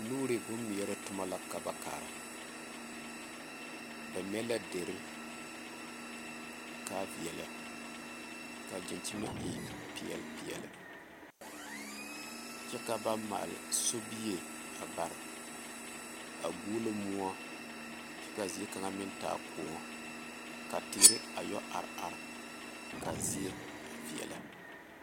Nuuri boŋ meɛre toma la ka ba kaara ba mɛ la dere kaa veɛlɛ kaa daŋkyime e peɛl peɛle kyɛ ka ba maale sobie a bare a guolo moɔ kyɛ kaa zie kaŋa meŋ taa koɔ ka teere a yɔ are are kaa zie a veɛlɛ.